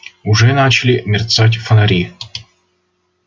уже начали мерцать фонари